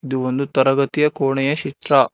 ಇದು ಒಂದು ತರಗತಿಯ ಕೋಣೆಯ ಚಿತ್ರ.